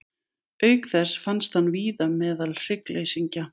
Auk þess finnst hann víða meðal hryggleysingja.